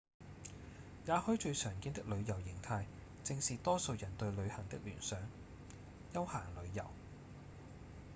也許最常見的旅遊型態正是多數人對旅行的聯想：休閒旅遊